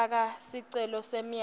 faka sicelo semyalelo